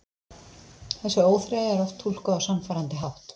Þessi óþreyja er oft túlkuð á sannfærandi hátt.